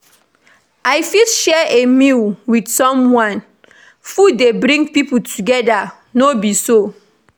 I fit share a meal with someone; food dey bring pipo together, no be so?